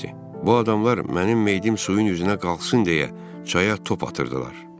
Bu adamlar mənim meyidim suyun üzünə qalxsın deyə çaya top atırdılar.